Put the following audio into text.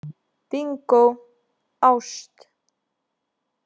Bingó: ást.